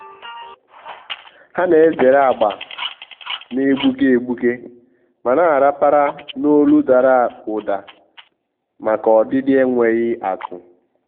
há nà-èzèrè agba nà-égbùké égbùké ma nà-àràpàrà n’ólù dàrà ụ́dà màkà ọdịdị énwéghị́ átụ́.